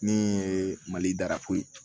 Ne ye malirafoyi